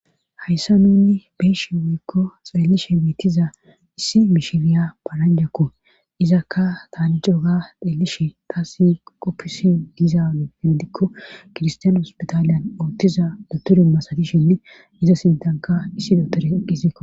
hayssa nunni beishe wuyikko xeellishe miittiza issi mishiriya paranjakko izakka tani cooga xeellishe taa si qoppisi dizaanehindikko kirstiyane hospitaaliyan oottiza doturi masadishinne iza sintanka issi dotore eqqisiko